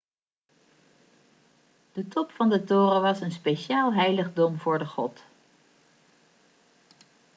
de top van de toren was een speciaal heiligdom voor de god